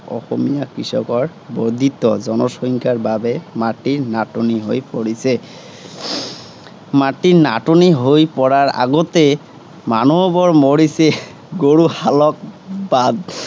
অসমীয়া কৃষকৰ বৰ্দ্ধিত জনসংখ্যাৰ বাবে মাটিৰ নাটনি হৈ পৰিছে। মাটি নাটনি হৈ পৰাৰ আগতে মানুহবোৰ মৰিছে। গৰু হালত বাদ।